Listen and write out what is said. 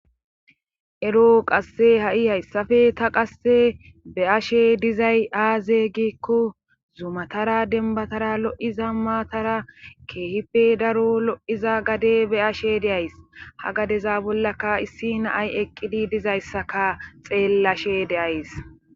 Ero qasse ha'i hayssappe ta qasse be'ashe dizay aaze gikko zumatara denbatara lo'iza maatara keehipe daro lo'iza gade be'ashe de'ays .Ha gadeza bollaka issi naay eqqidi diza issaka xeellashe de'ays.